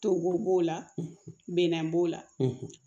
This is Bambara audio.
Togo b'o la bina b'o la